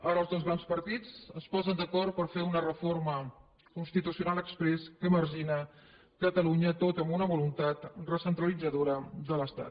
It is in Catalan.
ara els dos grans partits es posen d’acord per fer una reforma constitucional exprés que margina catalunya tot amb una voluntat recentralitzadora de l’estat